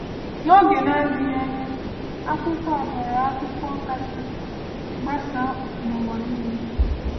N’oge na - adịghị anya, akwụkwọ a ghọrọ akwụkwọ kasị gbasaa n’ụwa niile.